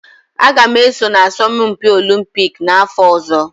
Aga m eso na asọmpi Olumpiki n'afọ ọzọ